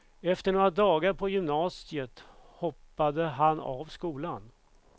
Efter några dagar på gymnasiet hoppade han av skolan.